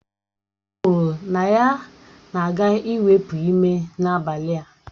O kwuru na ya na-aga iwepu ime n'abalị a